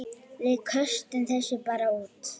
Við köstum þessu bara út.